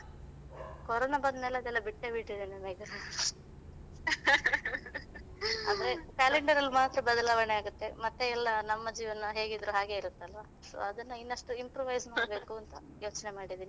corona ಬಂದ್ಮೇಲೆ ಅದೆಲ್ಲ ಬಿಟ್ಟೇ ಬಿಟ್ಟಿದ್ದೇನೆ ಮೇಘನಾ ಅಂದ್ರೆ calender ಅಲ್ಲಿ ಮಾತ್ರ ಬದಲಾವಣೆ ಆಗುತ್ತೆ ಮತ್ತೆ ಎಲ್ಲ ನಮ್ಮ ಜೀವನ ಹೇಗಿದ್ರು ಹಾಗೇನೇ ಇರುತ್ತೆ ಅಲ್ವ so ಅದನ್ನು ಇನ್ನಷ್ಟು improvise ಮಾಡ್ಬೇಕಂತ ಯೋಚನೆ ಮಾಡಿದ್ದೀನಿ